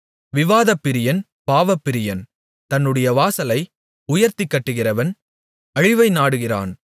விவாதப்பிரியன் பாவப்பிரியன் தன்னுடைய வாசலை உயர்த்திக் கட்டுகிறவன் அழிவை நாடுகிறான்